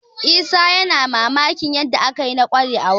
Isa ya cika da mamakin yadda aka yi na ƙware a waƙa